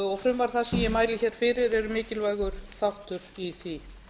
og frumvarp það sem ég mæli hér fyrir eru mikilvægur þáttur í því